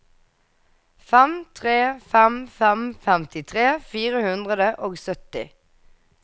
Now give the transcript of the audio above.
fem tre fem fem femtitre fire hundre og sytti